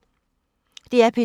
DR P2